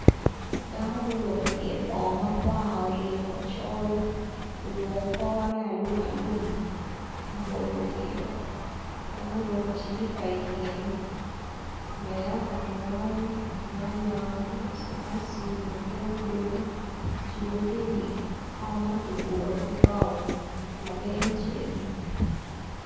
Dako muruko pyer bongo makwar olingo ocol oruko kore alumalum muboyo wiyeo bene oruko cilipa ityene layata munu nyanya nacinaci mutungulu kicibogi iwi kom ma kiguro ki bao lageng ceng.